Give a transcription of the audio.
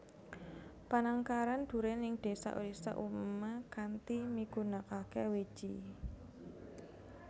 Panangkaran durèn ing désa désa umumé kanthi migunakaké wiji